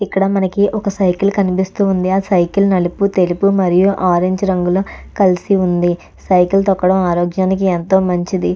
ఇక్కడ మనకి ఒక సైకిల్ కనిపిస్తుంది ఆ సైకిల్ నలుపు తెలుపు మరియు ఆరెంజ్ రంగులు కలిసి ఉంది సైకిల్ తొక్కడం ఆరోగ్యానికి ఎంతో మంచిది.